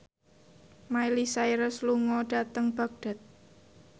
Miley Cyrus lunga dhateng Baghdad